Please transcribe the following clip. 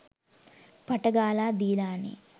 පට ගාලා දීලානේ.